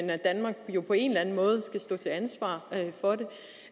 at danmark jo på en eller anden måde skal stå til ansvar for det